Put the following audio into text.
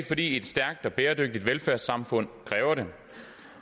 fordi et stærkt og bæredygtigt velfærdssamfund kræver det